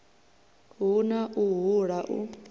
hu na u hula u